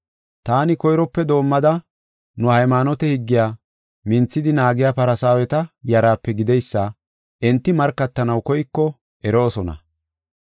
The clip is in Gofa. Taani koyrope doomada, nu haymaanote higgiya minthidi naagiya Farsaaweta yaraape gideysa enti markatanaw koyko eroosona.